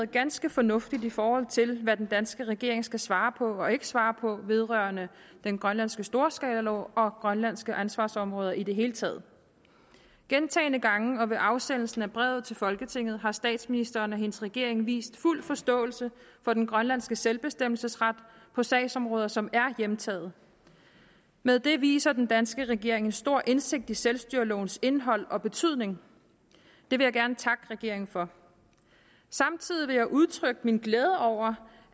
ganske fornuftigt i forhold til hvad den danske regering skal svare på og ikke svare på vedrørende den grønlandske storskalalov og grønlandske ansvarsområder i det hele taget gentagne gange og ved afsendelsen af brevet til folketinget har statsministeren og hendes regering vist fuld forståelse for den grønlandske selvbestemmelsesret på sagsområder som er hjemtaget med det viser den danske regering stor indsigt i selvstyrelovens indhold og betydning det vil jeg gerne takke regeringen for samtidig vil jeg udtrykke min glæde over